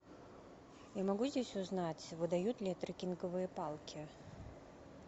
я могу здесь узнать выдают ли трекинговые палки